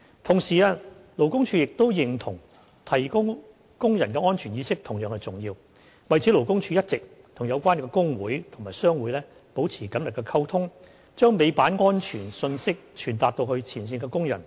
同時，勞工處認同提高工人的安全意識同樣重要，為此勞工處一直與有關工會及商會保持緊密溝通，將尾板安全信息傳達至前線工人。